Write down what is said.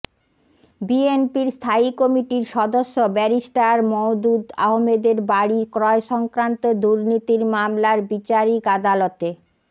বিএনপির স্থায়ী কমিটির সদস্য ব্যারিস্টার মওদুদ আহমদের বাড়ি ক্রয়সংক্রান্ত দুর্নীতির মামলার বিচারিক আদালতে